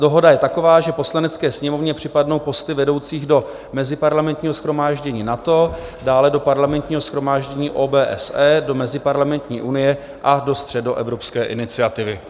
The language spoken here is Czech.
Dohoda je taková, že Poslanecké sněmovně připadnou posty vedoucích do Meziparlamentního shromáždění NATO, dále do Parlamentního shromáždění OBSE, do Meziparlamentní unie a do Středoevropské iniciativy.